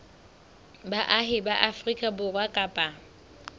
baahi ba afrika borwa kapa